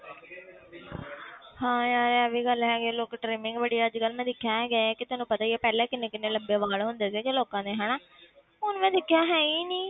ਹਾਂ ਇਹ ਵੀ ਗੱਲ ਹੈਗੀ ਹੈ ਲੋਕੀ trimming ਬੜੀ ਮੈਂ ਅੱਜ ਕੱਲ੍ਹ ਦੇਖਿਆ ਹੈਗਾ ਹੈ ਕਿ ਤੈਨੂੰ ਪਤਾ ਹੀ ਹੈ ਪਹਿਲਾਂ ਕਿੰਨੇ ਕਿੰਨੇ ਲੰਬੇ ਵਾਲ ਹੁੰਦੇ ਸੀ ਲੋਕਾਂ ਦੇ ਹਨਾ ਹੁਣ ਮੈਂ ਦੇਖਿਆ ਹੈ ਹੀ ਨੀ